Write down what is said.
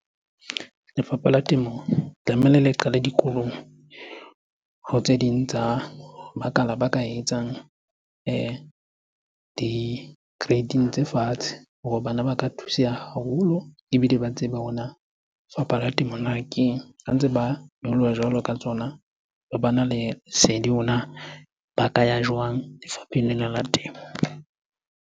Lefapha la temo tlamehile le qale dikolong ho tse ding tsa makala ba ka etsang di-grading tse fatshe hore bana ba ka thuseha haholo ebile ba tsebe hore na fapha la temo na keng? Ha ntse ba nyoloha jwalo ka tsona, re bana le sedi hore na ba ka ya jwang lefapheng lena la temo?